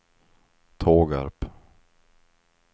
Tågarp